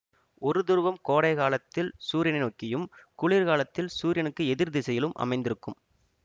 ஒரு துருவம் கோடை காலத்தில் சூரியனை நோக்கியும் குளிர்காலத்தில் சூரியனுக்கு எதிர் திசையிலும் அமைந்திருக்கும்